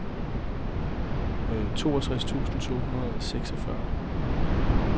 toogtres tusind to hundrede og seksogfyrre